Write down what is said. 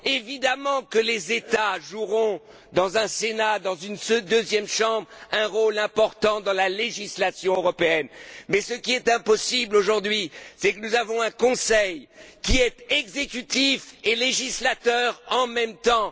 Évidemment que les États joueront, dans un Sénat, dans une deuxième Chambre, un rôle important dans la législation européenne, mais ce qui est inacceptable aujourd'hui, c'est que nous avons un Conseil qui est exécutif et législateur en même temps.